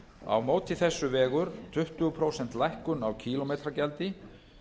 á móti þessu vegur tuttugu prósenta lækkun á kílómetragjaldi